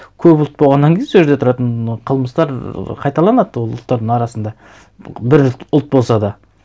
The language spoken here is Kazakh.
көп ұлт болғаннан кейін сол жерде тұратын қылмыстар қайталанады ол ұлттардың арасында бір ұлт болса да